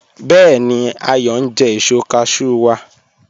Bẹẹ̀ni, Ayọ n jẹ èṣọ́ cashew wa